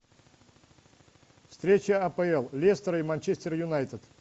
встреча апл лестер и манчестер юнайтед